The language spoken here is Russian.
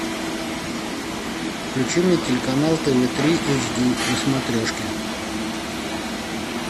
включи мне телеканал тв три эйч ди на смотрешке